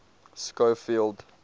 schofield